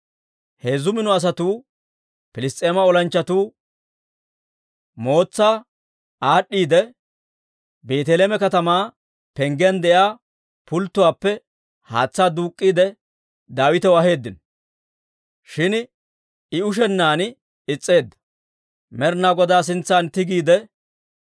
Heezzu mino asatuu Piliss's'eema olanchchatuu mootsaa aad'd'iidde, Beeteleeme katamaa penggiyaan de'iyaa pulttuwaappe haatsaa duuk'k'iide Daawitaw aheeddino. Shin I ushennaan is's'eedda; Med'inaa Godaa sintsan tigiide,